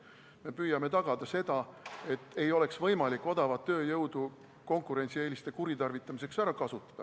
Me püüame tagada seda, et ei oleks võimalik odavat tööjõudu konkurentsieeliste kuritarvitamiseks ära kasutada.